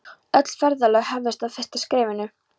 Öll ferðalög hefjast á fyrsta skrefinu.